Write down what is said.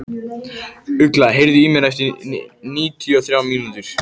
Ugla, heyrðu í mér eftir níutíu og þrjár mínútur.